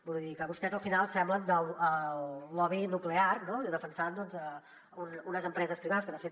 vull dir que vostès al final semblen el lobby nuclear defensant unes empreses privades que de fet